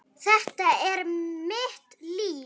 Þetta er mitt líf.